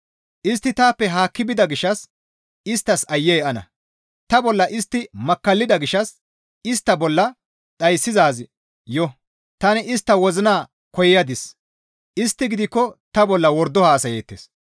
Istti taappe haakki bida gishshas isttas aayye ana! Ta bolla istti makkallida gishshas istta bolla dhayssizaazi yo; Tani istta wozzana koyadis; istti gidikko ta bolla wordo haasayeettes.